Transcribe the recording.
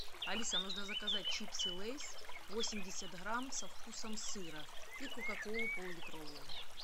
алиса нужно заказать чипсы лэйс восемьдесят грамм со вкусом сыра и кока колу пол литровую